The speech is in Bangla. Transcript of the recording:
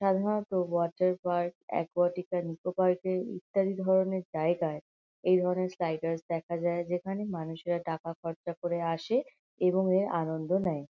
সাধারণত water park Aquatica Nicco Park এর ইত্যাদি ধরনের জায়গায়। এই ধরনের স্লাইডারস দেখা যায় যেখানে মানুষেরা টাকা খরচা করে আসে এবং এর আনন্দ নেয়।